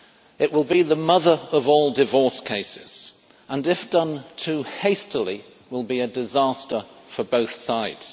It will be the mother of all divorce cases, and if done too hastily will be a disaster for both sides.